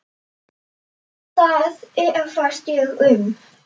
Það efast ég um.